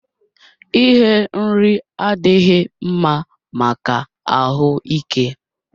Ighe nri adịghị mma maka ahụ ike